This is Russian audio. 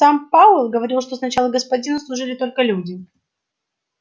сам пауэлл говорил что сначала господину служили только люди